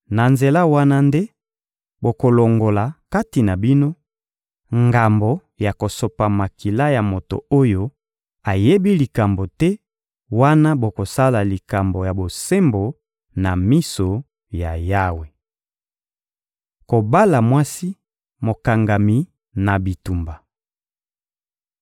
Na nzela wana nde bokolongola, kati na bino, ngambo ya kosopa makila ya moto oyo ayebi likambo te wana bokosala likambo ya bosembo na miso ya Yawe. Kobala mwasi mokangami na bitumba